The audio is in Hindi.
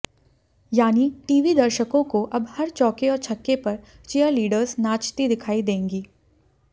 यानी टीवी दर्शकों को अब हर चौके और छक्के पर चीयरलीडर्स नाचती दिखाई देंगी